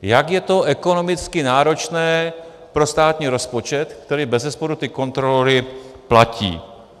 Jak je to ekonomicky náročné pro státní rozpočet, který bezesporu ty kontrolory platí.